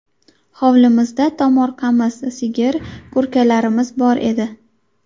Hovlimizda tomorqamiz, sigir, kurkalarimiz bor edi.